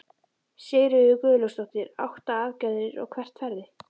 Sigríður Guðlaugsdóttir: Átta aðgerðir, og hvert ferðu?